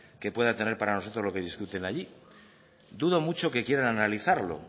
que pueda tener para nosotros lo que discuten allí dudo mucho que quieran analizarlo